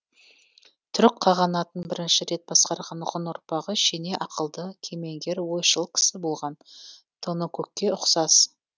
түрік қағанатын бірінші рет басқарған ғұн ұрпағы шене ақылды кемеңгер ойшыл кісі болған тоныкөкке ұқсас